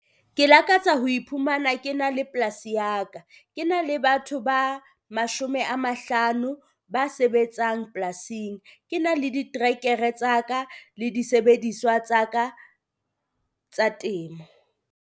Ke lakatsa ho iphumana ke ena le polasi ya ka, ke ena le batho ba 50 ba sebetsang polasing, ke ena le diterekere tsa ka le disebediswa tsa ka tsa temo.